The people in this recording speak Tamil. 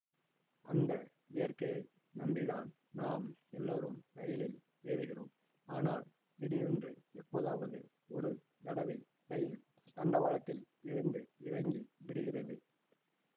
அந்த இயற்கையை நம்பி தான் நாம் எல்லோரும் ரயிலில் ஏறுகிறோம் ஆனால் திடீரென்று எப்போதாவது ஒரு தடவை ரயில் தண்டவாளத்தில் இருந்து இறங்கி விடுகிறது